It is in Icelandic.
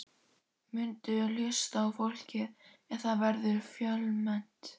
Muntu hlusta á fólkið ef það verður fjölmennt?